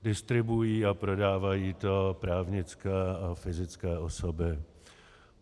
Distribuují a prodávají to právnické a fyzické osoby.